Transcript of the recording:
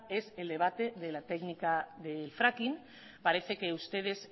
es el debate de la técnica de fracking parece que ustedes